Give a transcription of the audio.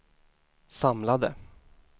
samlade